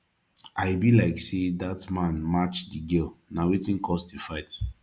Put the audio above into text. i be like say that man match the girl na wetin cause the fight